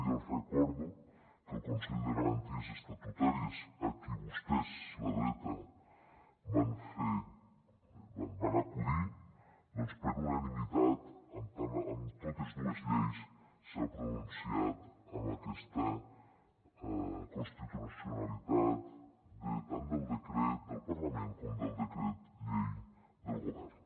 i els recordo que el consell de garanties estatutàries a qui vostès la dreta van acudir doncs per unanimitat amb totes dues lleis s’ha pronunciat amb aquesta constitucionalitat tant del decret del parlament com del decret llei del govern